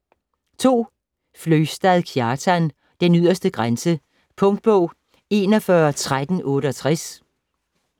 Fløgstad, Kjartan: Den yderste grænse Punktbog 411368